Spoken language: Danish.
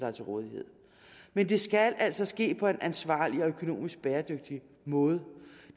er til rådighed men det skal altså ske på en ansvarlig og økonomisk bæredygtig måde